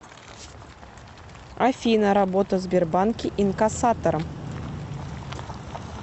афина работа в сбербанке инкассатором